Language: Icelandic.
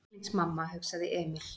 Veslings mamma, hugsaði Emil.